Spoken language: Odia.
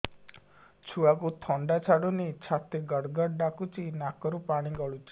ଛୁଆକୁ ଥଣ୍ଡା ଛାଡୁନି ଛାତି ଗଡ୍ ଗଡ୍ ଡାକୁଚି ନାକରୁ ପାଣି ଗଳୁଚି